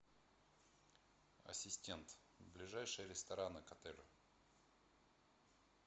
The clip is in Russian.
ассистент ближайшие рестораны к отелю